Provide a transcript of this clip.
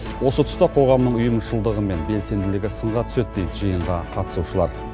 осы тұста қоғамның ұйымшылыдығы мен белсенділігі сынға түседі дейді жиынға қатысушылар